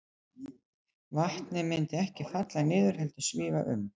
Vatnið myndi ekki falla niður, heldur svífa um.